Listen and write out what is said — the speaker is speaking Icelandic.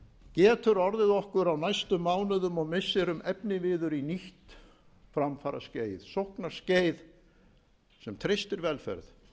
getur orðið okkur á næstu mánuðum og misserum efniviður í nýtt framfaraskeið sóknarskeið sem treystir velferð